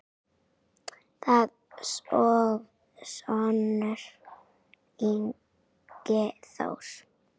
Þinn sonur, Ingi Þór.